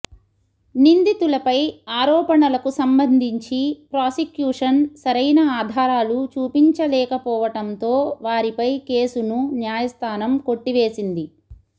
నిందితులపై ఆరోపణలకు సంబంధించి ప్రాసిక్యూషన్ సరైన ఆధారాలు చూపించలేకపోవటంతో వారిపై కేసును న్యాయస్థానం కొట్టివేసింది